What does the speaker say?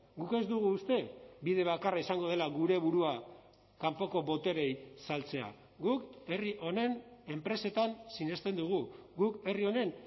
guk ez dugu uste bide bakarra izango dela gure burua kanpoko botereei saltzea guk herri honen enpresetan sinesten dugu guk herri honen